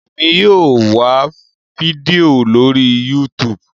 Èmi yóò wá fídíò lórí youtube